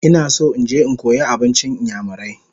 I want to go and learn igbo food